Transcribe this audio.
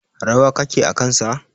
Rawa kake a kan sa.